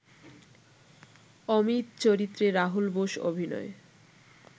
অমিত চরিত্রে রাহুল বোস অভিনয়